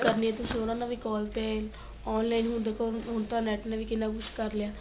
ਕਰਨੀ ਏ ਤੁਸੀਂ ਉਹਨਾ ਨਾਲ ਵੀ call ਤੇ online ਹੁਣ ਦੇਖੋ ਹੁਣ ਤਾਂ NET ਨੇ ਵੀ ਕਿੰਨਾ ਕੁੱਝ ਕਰ ਲਿਆ